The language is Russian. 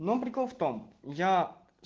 но прикол в том я